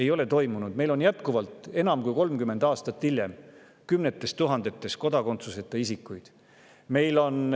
on jätkuvalt, enam kui 30 aastat hiljem, kümneid tuhandeid kodakondsuseta isikuid.